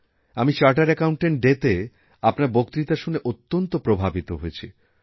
আমি chartered accountant ডেতে আপনারবক্তৃতা শুনে অত্যন্ত প্রভাবিত হয়েছি